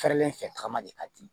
Fɛrɛlen fɛ tagama de ka di